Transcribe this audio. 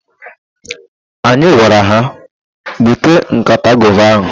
Anyị gwara ha, "bute nkata gova ahụ"!